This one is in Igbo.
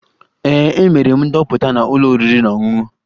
Ee, emere m ndoputa na ụlọ oriri na ọṅụṅụ